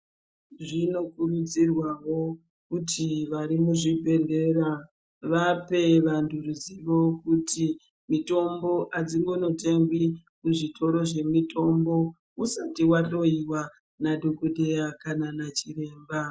Zvinokurudzirwawo kuti varimuzvibhedhleya vape vantu ruzivo kuti mitombo aimbonotengwi kuzvitoro zvinotengeswa mitombo muntu asati ahloyiwa nadhokodheya kana nachiremba.